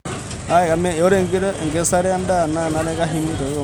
Ore enkikesare endaa kenare keshumi tokombe loserian.